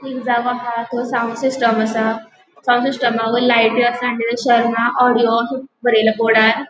एक जागो हा तो साउन्ड सिस्टम आसा. साउन्ड सिस्टमावयर लायटो आसा ऑडिओ बरायला बोर्डार --